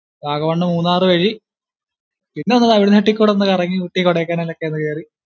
വാഗമണ് മുന്നാർ വഴി പിന്നൊന്ന് തമിഴ്നാട്ടിൽ കൂടി ഒന്ന് കറങ്ങി ഊട്ടി കൊഡൈക്കനാൽ ഒന്ന് കേറി